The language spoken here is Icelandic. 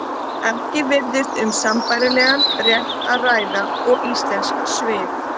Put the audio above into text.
Ekki virðist um sambærilegan rétt að ræða og íslensk svið.